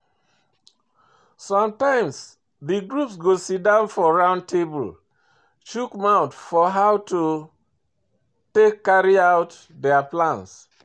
Sometimes the groups go sidon for round table chook mouth for how to take carry out their plan